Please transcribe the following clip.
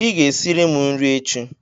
Ị ga-esiri m nri echi.!